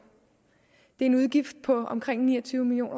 er en udgift på omkring ni og tyve million